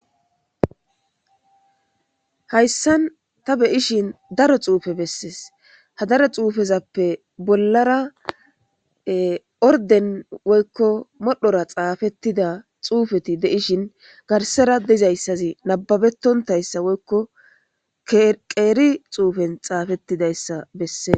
hayssan ta beyishin daro xuufe bessees ha daro xuufezappe bollara orden woykko modhora xaafettida xuufeti deishin garsera dizayssazi nababetontayssa woykko qeeri xuufen xaafettidayssa bessees